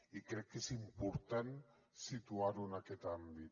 i crec que és important situar ho en aquest àmbit